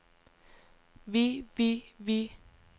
vi vi vi